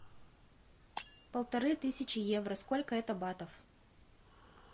полторы тысячи евро сколько это батов